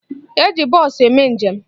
E ji bọọsụ eme njem.